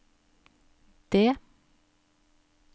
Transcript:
D